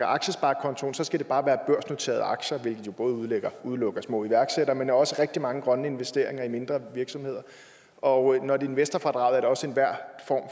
aktiesparekontoen skal det bare være børsnoterede aktier hvilket jo både udelukker små iværksættere men også rigtig mange grønne investeringer i mindre virksomheder og når et investorfradrag er det også